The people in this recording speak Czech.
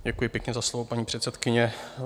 Děkuji pěkně za slovo, paní předsedkyně.